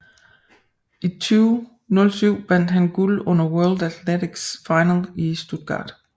I 2007 vandt han guld under World Athletics Final i Stuttgart